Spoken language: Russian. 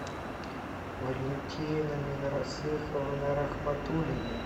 валентина минрасыховна рахматуллина